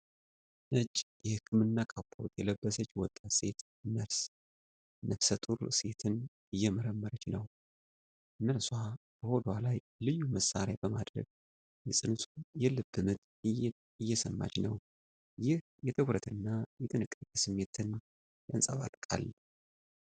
ነጭ የህክምና ካፖርት የለበሰች ወጣት ሴት ነርስ ነፍሰ ጡር ሴትን እየመረመረች ነው። ነርሷ በሆዷ ላይ ልዩ መሣሪያ በማድረግ የፅንሱን የልብ ምት እየሰማች ነው፤ ይህ የትኩረት እና የጥንቃቄ ስሜትን ያንጸባርቃል።